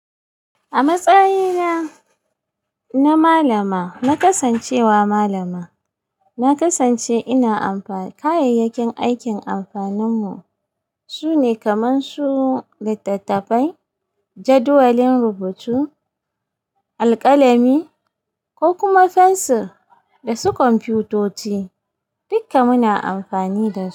A matsayina na malama, na kasancewa malama. Na kasance ina amfani da kayayyakin aikin amfaninmu. Sune kamar su littattafai, jadawalin rubutu, alƙalami ko kuma fensir da su kwamfutoci. Duka muna amfani da su.